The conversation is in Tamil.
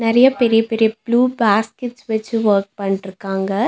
நெறையா பெரிய பெரிய ப்ளூ பேஸ்கெட்ஸ் வெச்சு வொர்க் பண்ணிட்ருக்காங்க.